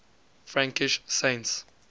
frankish saints